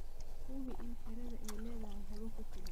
Hubi in xiradhaa aay leedhahay hawo ku filan.